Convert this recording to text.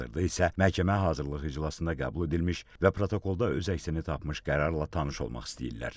Hazırda isə məhkəmə hazırlıq iclasında qəbul edilmiş və protokolda öz əksini tapmış qərarla tanış olmaq istəyirlər.